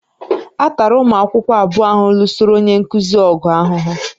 A tara ụmụ akwụkwọ abụọ ahụ lụsoro onye nkuzi ọgụ ahụhụ